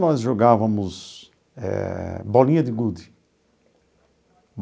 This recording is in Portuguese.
Nós jogávamos eh bolinha de gude.